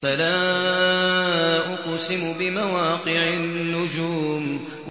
۞ فَلَا أُقْسِمُ بِمَوَاقِعِ النُّجُومِ